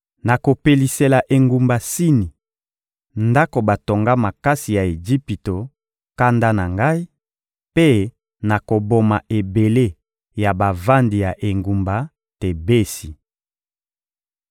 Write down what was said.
Nakopelisela engumba Sini, ndako batonga makasi ya Ejipito, kanda na Ngai; mpe nakoboma ebele ya bavandi ya engumba Tebesi.